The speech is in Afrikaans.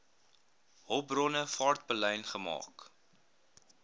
hulpbronne vaartbelyn gemaak